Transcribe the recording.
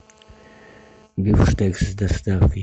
бифштекс с доставкой